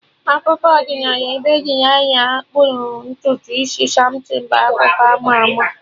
Akụkọ ọdịnala ebe Delilah kpụrụ ntutu isi Samson bụ akụkọ ama ama